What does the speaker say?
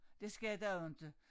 Det skal der jo inte